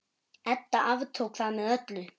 Edda aftók það með öllu.